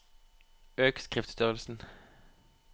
Øk skriftstørrelsen